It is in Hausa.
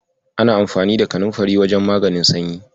Ana amfani da kanunfari wajen maganin sanyi.